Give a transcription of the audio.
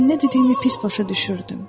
Mən nə dediyimi pis başa düşürdüm.